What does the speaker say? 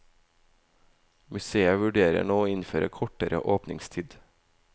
Museet vurderer nå å innføre kortere åpningstid.